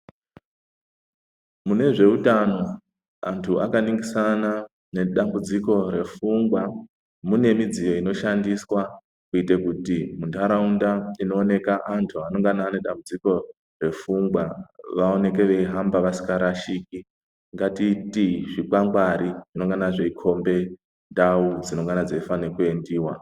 Mune zveutano antu akaningisana nedambudziko yepfungwa mune midziyo inoshandiswa kuitire kuti muntaraunda munoonekwa antu ane dambudziko repfungwa vaonekwe vasingahambi vasingarashiki rashiki. Ngatite zvikwangwari zvinenge zveikomba ndau dzinenge dzifane kuendiwa.